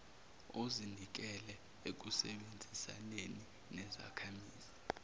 ozinikele ekusebenzisaneni nezakhamizi